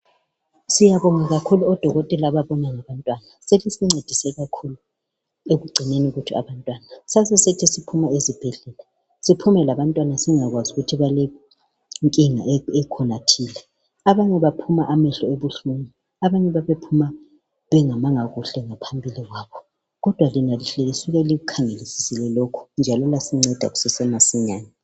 Siyabonga kakhulu odokotela ababona ngabantwana, selisincedise kakhulu ekungcineni kwethu abantwana. Sasithi siphuma ezibhedlela siphume labantwana singazi ukuthi balenkinga ekhona thile . Abanye baphuma amehlo ebuhlungu, abanye babephuma bengamanga kuhle ngaphambili kwabo. kodwa ke lina lihle lisuka likukhangelise lokhu njalo lasinceda kusese masinyane.